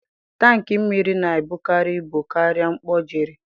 Tankị mmiri na-ebukarị ibu karịa mkpọ Jerry.